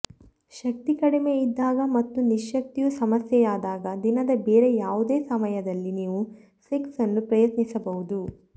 ಶಕ್ತಿ ಕಡಿಮೆಯಿದ್ದಾಗ ಮತ್ತು ನಿಶ್ಯಕ್ತಿಯು ಸಮಸ್ಯೆಯಾದಾಗ ದಿನದ ಬೇರೆ ಯಾವುದೇ ಸಮಯದಲ್ಲಿ ನೀವು ಸೆಕ್ಸ್ ನ್ನು ಪ್ರಯತ್ನಿಸಬಹುದು